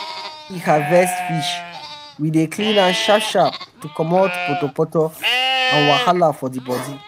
wen we harvest fish we dey clean am sharp sharp to comot potopoto and wahala for di bodi.